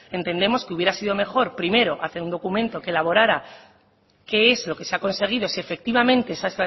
entendemos que hubiera sido mejor primero hacer un documento que elaborará qué es lo que se ha conseguido sí efectivamente esa